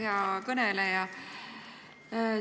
Hea kõneleja!